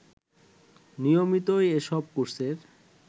নিয়মিতই এসব কোর্সের